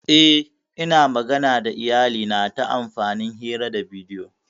Yes, Ina magana da iyalina ta amfani hira ta bidiyo.